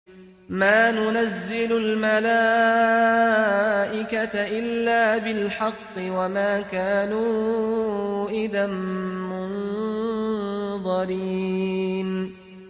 مَا نُنَزِّلُ الْمَلَائِكَةَ إِلَّا بِالْحَقِّ وَمَا كَانُوا إِذًا مُّنظَرِينَ